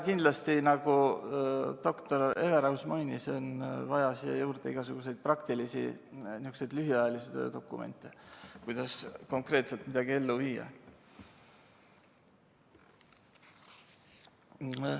Kindlasti, nagu doktor Everaus mainis, on vaja siia juurde igasuguseid praktilisi lühiajalisi dokumente, kuidas konkreetselt midagi ellu viia.